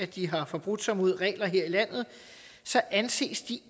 de har forbrudt sig mod regler her i landet så anses de